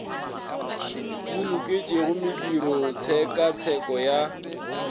di loketšego modiro tshekatsheko ya